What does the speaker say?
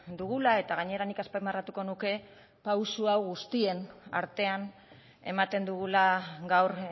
dugula eta gainera nik azpimarratuko nuke pausu hau guztien artean ematen dugula gaur